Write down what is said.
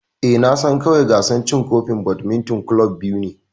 Eh, Na san kawai gasar cin kofin badminton club biyu ne.